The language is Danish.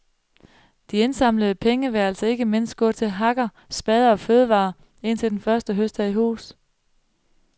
De indsamlede penge vil altså ikke mindst gå til hakker, spader og fødevarer, indtil den første høst er i hus.